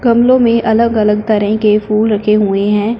गमलों में अलग-अलग तरह के फूल रखे हुए है।